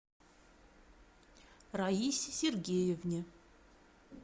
раисе сергеевне